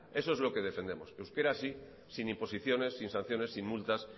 eso es lo que defendemos euskera sí sin imposiciones sin sanciones sin multas